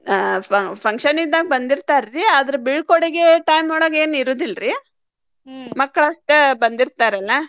ಹಾ fu~ function ಇದ್ದಾಗ್ ಬಂದಿರ್ತಾರ್ರೀ ಅದ್ರ್ ಬಿಳ್ಕೊಡುಗೆ time ಒಳಗೇನ್ ಇರುದಿಲ್ಲರ್ರೀ ಮಕ್ಕಳಷ್ಟ ಬಂದಿರ್ತಾರಲ್ಲಾ.